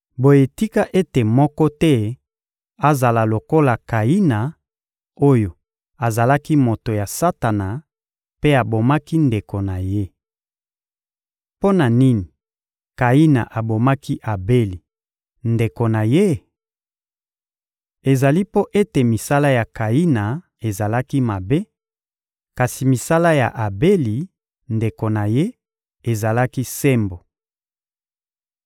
Boye tika ete moko te azala lokola Kayina oyo azalaki moto ya Satana mpe abomaki ndeko na ye. Mpo na nini Kayina abomaki Abeli, ndeko na ye? Ezali mpo ete misala ya Kayina ezalaki mabe, kasi misala ya Abeli, ndeko na ye, ezalaki sembo.